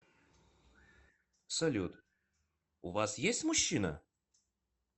салют у вас есть мужчина